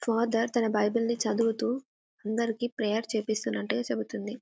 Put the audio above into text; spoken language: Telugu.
ఫాదర్ తన బైబిల్ ని చదువుతూ అందరికీ ప్రేయర్ చేస్తున్నట్టుగా కనిపిస్తున్నట్టుగా చెప్తుంది.